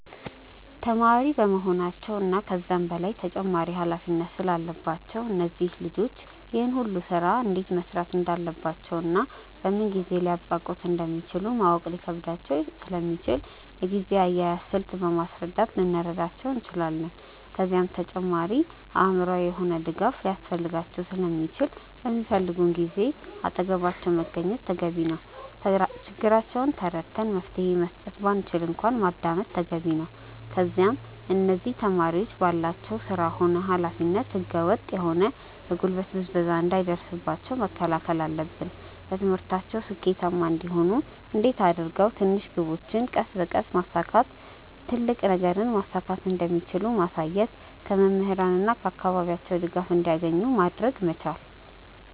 ተማሪ በመሆናቸው እና ከዛም በላይ ተጨማሪ ኃላፊነት ስላለባቸው እነዚህ ልጆች ይህን ሁሉ ስራ እንዴት መስራት እንዳለባቸውና በምን ጊዜ ሊያብቃቁት እንደሚችሉ ማወቅ ሊከብዳቸው ስለሚችል የጊዜ አያያዝን ስልት በማስረዳት ልንረዳቸው እንችላለን። ከዛም በተጨማሪ አእምሮአዊ የሆነ ድጋፍ ሊያስፈልጋቸው ስለሚችል በሚፈልጉን ጊዜ አጠገባቸው መገኘት ተገቢ ነው። ችግራቸውን ተረድተን መፍትሄ መስጠት ባንችል እንኳን ማዳመጥ ተገቢ ነው። ከዛም እነዚህ ተማሪዎች ባላቸው ስራ ሆነ ኃላፊነት ህገ ወጥ የሆነ የጉልበት ብዝበዛ እንዳይደርስባቸው መከላከል አለብን። በትምህርታቸው ስኬታማ እንዲሆኑ እንዴት አድርገው ትንሽ ግቦችን ቀስ በቀስ በማሳካት ትልቅ ነገርን ማሳካት እንደሚችሉ ማሳየት። ከመምህራን እና ከአካባቢያቸው ድጋፍ እንዲያገኙ ማድረግ መቻል።